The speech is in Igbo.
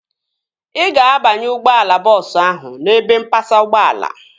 Ị ga-abanye ụgbọala bọọsu ahu n'ebe mpasa ụgbọala